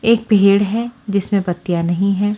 एक भेड़ है जिसमें बत्तियां नहीं है।